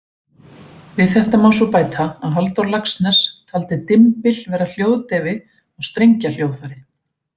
Við þetta má svo bæta að Halldór Laxness taldi dymbil vera hljóðdeyfi á strengjahljóðfæri.